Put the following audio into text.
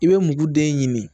I bɛ muguden ɲini